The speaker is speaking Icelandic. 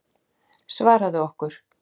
Svaraðu okkur.